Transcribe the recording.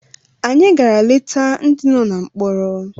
Anyị gara leta ndị nọ na mkpọrọ